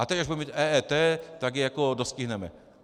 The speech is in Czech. A teď, až budeme mít EET, tak je jako dostihneme.